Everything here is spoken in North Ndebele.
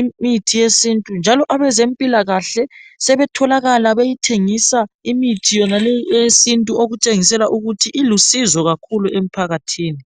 imithi yesintu njalo abezempilakahle sebetholakala beyithengisa imithi yonale eyesintu okutshengisela ukuthi ilusizo kakhulu emphakathini.